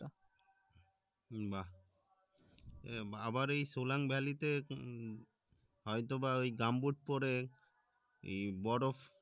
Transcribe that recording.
বাহ্ আবার এই সোলাংভাল্লি তে হয়তোবা gumboot পরে এই বরফ